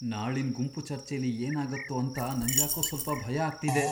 ನಾಳಿನ್ ಗುಂಪ್ ಚರ್ಚೆಲಿ ಏನಾಗತ್ತೋ ಅಂತ ನಂಗ್ಯಾಕೋ ಸ್ವಲ್ಪ ಭಯ ಆಗ್ತಿದೆ.